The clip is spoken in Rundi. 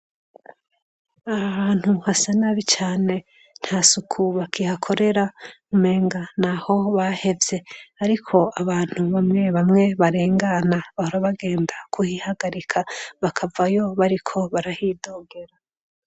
AAh hantu hasa nabi cane nta suku bakihakorera umenga ni aho bahevye ariko abantu bamwe bamwe barengana bahora bagenda kuhihagarika bakavayo bariko barahidogera.